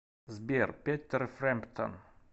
сбер петер фрэмптон